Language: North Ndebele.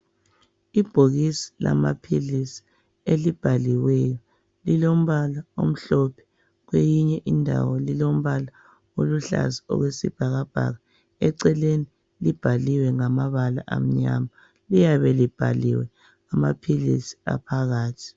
Ibhokisi lamaphilisi elibhaliweyo lilombala omhlophe kweyinye indawo lilombala oluhlaza okwesibhakabhaka eceleni libhaliwe ngamabala amnyama liyabe libhaliwe amaphilisi aphakathi.